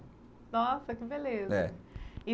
Nossa, que beleza. é e